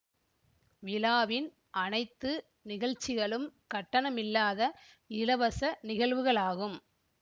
விழாவின் அனைத்து நிகழ்ச்சிகளும் கட்டணமில்லாத இலவச நிகழ்வுகளாகும்